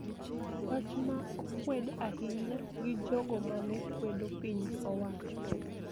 Wach ma okwed ahinya gi jogo ma ne kwedo piny owacho